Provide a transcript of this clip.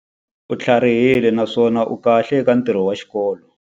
U tlharihile naswona u kahle eka ntirho wa xikolo.